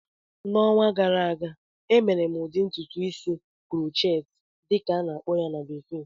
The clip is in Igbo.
N'ọnwa gara aga, emere m ụdị ntụtụ isi "crochet" dịka a na-akpọ ya na bekee